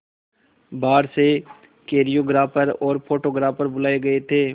बाहर से कोरियोग्राफर और फोटोग्राफर बुलाए गए थे